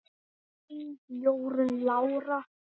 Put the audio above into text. Þín Jórunn Lára.